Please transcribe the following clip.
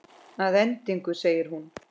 Að endingu segir hún